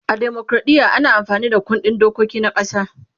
a demokradiya ana amfani Da kundin dokiki na ƙasa